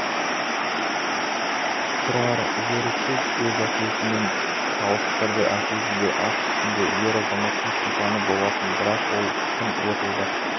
тұрар еріксіз өз әкесімен салыстырды әкесі де ат үстінде ер-азаматтың сұлтаны болатын бірақ ол тым лыпылдап